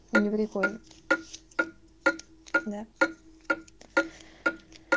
не прикольно да